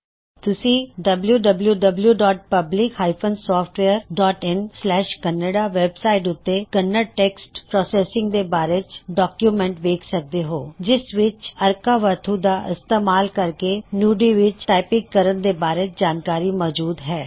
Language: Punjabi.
ਤੁਸੀ wwwPublic SoftwareinKannada ਵੈਬ ਸਾਇਟ ਉੱਤੇ ਕੰਨੜ ਟੈਕਸਟ ਪ੍ਰੌਸੈੱਸਿੰਗ ਦੇ ਬਾਰੇ ਡੌਕਯੂਮੈਂਟ ਵੇਖ ਸਕਦੇ ਹੋ ਜਿਸ ਵਿੱਚ ਅਰਕਾਵਾਥੁਅਰਕਾਵਥੂ ਦਾ ਇਸਤੇਮਾਲ ਕਰਕੇ ਨੂਡੀ ਵਿੱਚ ਟਾਇਪੰਗ ਕਰਨ ਦੇ ਬਾਰੇ ਜਾਨਕਾਰੀ ਮੌਜੂਦ ਹੈ